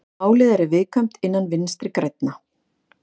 Málið er viðkvæmt innan Vinstri grænna